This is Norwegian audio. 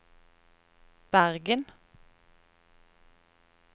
Bergen